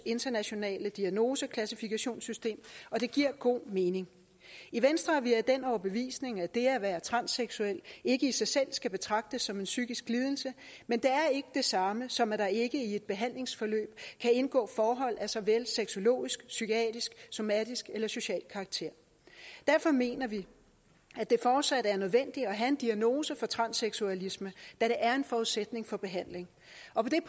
internationale diagnoseklassifikationssystem og det giver god mening i venstre er vi af den overbevisning at det at være transseksuel ikke i sig selv skal betragtes som en psykisk lidelse men det er ikke det samme som at der ikke i et behandlingsforløb kan indgå forhold af såvel sexologisk psykiatrisk somatisk eller social karakter derfor mener vi at det fortsat er nødvendigt at have en diagnose for transseksualisme da det er en forudsætning for behandling